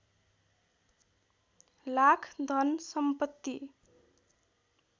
लाख धन सम्पत्ति